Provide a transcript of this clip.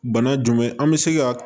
Bana jumɛn an bɛ se ka